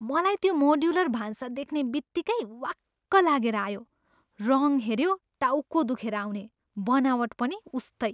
मलाई त्यो मोड्युलर भान्सा देख्ने बित्तिकै वाक्क लागेर आयो। रङ हेऱ्यो, टाउको दुखेर आउने! बनावट पनि उस्तै।